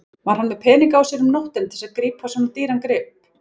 Var hann með peninga á sér um nóttina til þess að kaupa svona dýran grip?